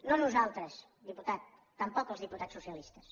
no nosaltres diputat tampoc els diputats socialistes